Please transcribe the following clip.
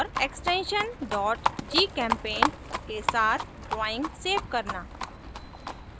extension gchempaint के साथ drawing save करना